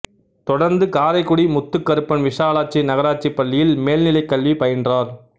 தொடர்ந்து காரைக்குடி முத்துக் கருப்பன் விசாலாட்சி நகராட்சி பள்ளியில் மேல்நிலைக் கல்வி பயின்றார்